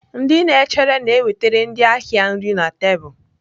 Ndị na-echere na-ewetara ndị ahịa nri na tebụl.